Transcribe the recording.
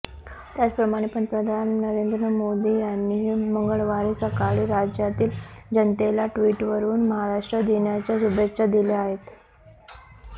त्याचप्रमाणे पंतप्रधान नरेंद्र मोदी यांनीही मंगळवारी सकाळी राज्यातील जनतेला ट्विटरवरून महाराष्ट्र दिनाच्या शुभेच्छा दिल्या आहेत